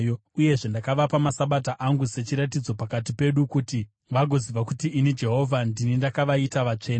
Uyezve ndakavapa maSabata angu sechiratidzo pakati pedu, kuti vagoziva kuti ini Jehovha ndini ndakavaita vatsvene.